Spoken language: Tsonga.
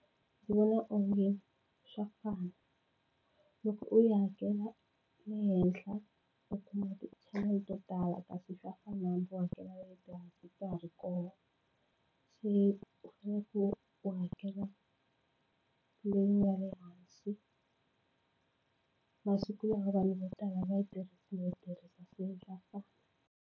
Ndzi vona onge swa fana loko u yi hakela ehenhla u kuma tichanele to tala kasi swa fanana u hakela ta ha ri kona se loko u hakela leyi nga le hansi masiku lama vanhu vo tala a va yi tirhisi no yi tirhisa se swa fana.